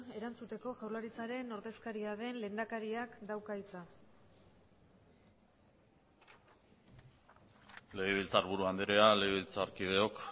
erantzuteko jaurlaritzaren ordezkaria den lehendakariak dauka hitza legebiltzarburu andrea legebiltzarkideok